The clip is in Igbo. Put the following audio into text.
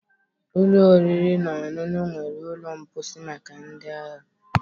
Ụlọ oriri na ọṅụṅụ nwere ụlọ mposi maka ndị ahịa